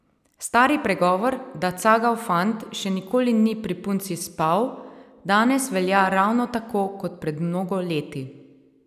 Stari pregovor, da cagav fant še nikoli ni pri punci spal, danes velja ravno tako kot pred mnogo leti.